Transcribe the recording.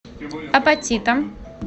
апатитам